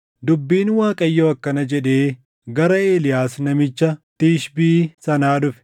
Dubbiin Waaqayyoo akkana jedhee gara Eeliyaas namicha Tishbii sanaa dhufe;